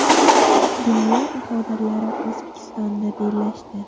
Dunyo bahodirlari O‘zbekistonda bellashdi .